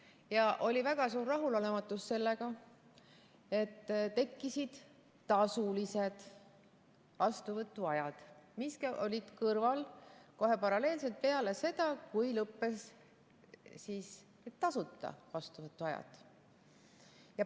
Ja oli väga suur rahulolematus sellega, et tekkisid tasulised vastuvõtuajad, mis olid kõrval, paralleelselt, kohe peale seda, kui lõppesid tasuta vastuvõtuajad.